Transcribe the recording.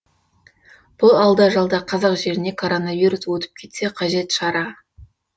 бұл алда жалда қазақ жеріне коронавирус өтіп кетсе қажет шара